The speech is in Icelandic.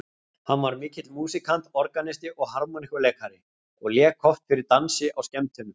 Hann var mikill músíkant, organisti og harmóníku- leikari, og lék oft fyrir dansi á skemmtunum.